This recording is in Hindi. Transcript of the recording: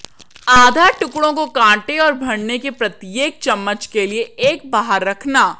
आधा टुकड़ों को काटें और भरने के प्रत्येक चम्मच के लिए एक बाहर रखना